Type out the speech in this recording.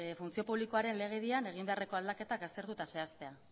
funtzio publikoaren legedian egin beharreko aldaketak aztertu eta zehaztea